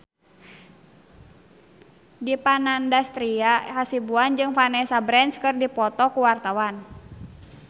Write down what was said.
Dipa Nandastyra Hasibuan jeung Vanessa Branch keur dipoto ku wartawan